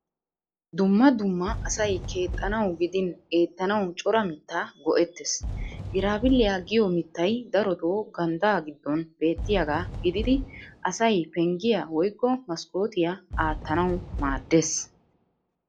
Dumma dumma asay keexxanawu gidin eettanawu cora mittaa go'ettees. Giraabbiliya giyo mittay darotoo ganddaa giddon beettiyagaa gididi asay penggiya woykko maskkootiya aattanawu maaddees.